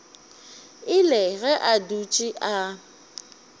ile ge a dutše a